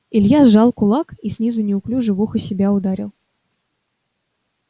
илья сжал кулак и снизу неуклюже в ухо себя ударил